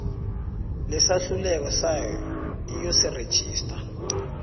lesahlulelo sayo iyosirejistara